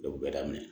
bɛɛ daminɛ